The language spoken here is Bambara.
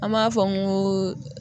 An b'a fɔ n ko